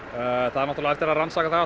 það á eftir að rannsaka það